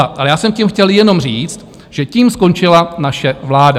Ale já jsem tím chtěl jenom říct, že tím skončila naše vláda.